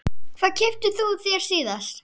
Hvað keyptir þú þér síðast?